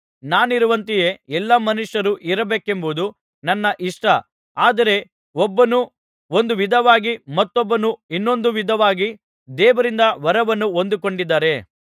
ನಾನಿರುವಂತೆಯೇ ಎಲ್ಲಾ ಮನುಷ್ಯರು ಇರಬೇಕೆಂಬುದು ನನ್ನ ಇಷ್ಟ ಆದರೆ ಒಬ್ಬನು ಒಂದು ವಿಧವಾಗಿ ಮತ್ತೊಬ್ಬನು ಇನ್ನೊಂದು ವಿಧವಾಗಿ ದೇವರಿಂದ ವರವನ್ನು ಹೊಂದಿಕೊಂಡಿದ್ದಾರೆ